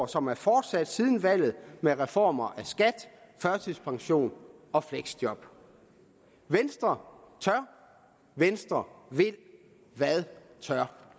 som er fortsat siden valget med reformer af skat førtidspensionen og fleksjob venstre tør venstre vil hvad tør